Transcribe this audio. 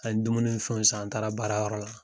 An ɲe dumuni ni fɛnw san, an taara baarayɔrɔ la.